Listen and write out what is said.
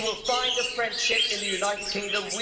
You will find a friendship in the United Kingdom.